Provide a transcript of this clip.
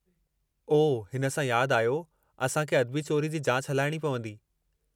ओह! हिन सां यादि आयो, असां खे अदबी चोरी जी जाच हलाइणी पवंदी।